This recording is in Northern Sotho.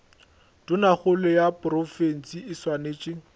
tonakgolo ya profense e swanetše